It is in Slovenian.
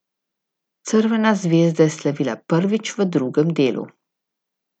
Crvena zvezda je slavila prvič v drugem delu.